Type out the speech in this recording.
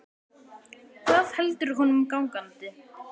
Hvað heldur honum gangandi?